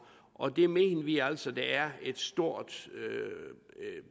og det mener vi altså at der er et stort